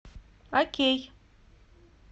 окей